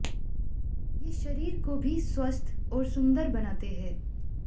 ये शरीर को भी स्वस्थ और सुंदर बनाते हैं